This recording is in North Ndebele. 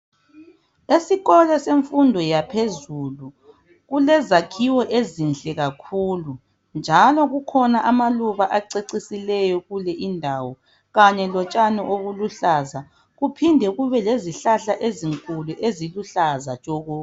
Esikolo semfundo yaphezulu, kulezakhiwo ezinhle kakhulu, njalo kukhona amaluba acecisileyo kule indawo, kanye lotshani obuluhlaza, kuphinde kube lezihlahla ezinkulu eziluhlaza tshoko.